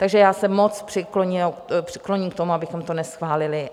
Takže já se moc přikloním k tomu, abychom to neschválili .